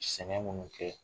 Sɛgɛn minnu kɛ